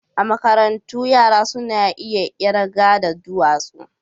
A makarantu yara suna iya kirga da dutsuna.